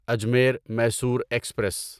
Ajmer Mysore express